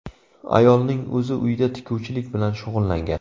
Ayolning o‘zi uyda tikuvchilik bilan shug‘ullangan.